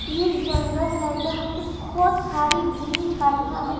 ये एक जंगल है जहां पे बहुत सारी घनी झाड़ियां हैं।